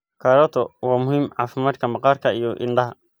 Karooto waa muhiim caafimaadka maqaarka iyo indhaha.